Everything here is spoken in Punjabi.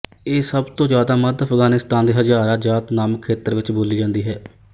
ਇਹ ਸਭ ਤੋਂ ਜ਼ਿਆਦਾ ਮੱਧ ਅਫਗਾਨਿਸਤਾਨ ਦੇ ਹਜ਼ਾਰਾਜਾਤ ਨਾਮਕ ਖੇਤਰ ਵਿੱਚ ਬੋਲੀ ਜਾਂਦੀ ਹੈ